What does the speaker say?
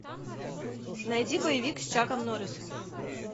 найди боевик с чаком норрисом